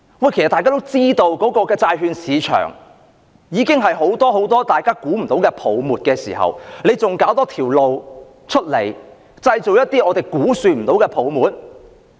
眾所周知，債券市場已經存在很多大家料想不到的泡沫，政府還要另闢蹊徑，製造無法估算的泡沫？